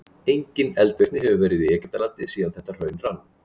Engin eldvirkni hefur verið í Egyptalandi síðan þetta hraun rann.